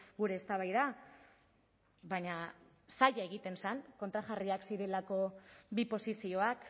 gure eztabaida baina zaila egiten zen kontrajarriak zirelako bi posizioak